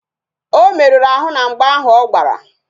O meruru ahụ na mgba ahụ ọ gbara